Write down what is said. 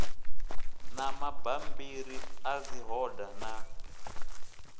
na mabammbiri a dzihoda na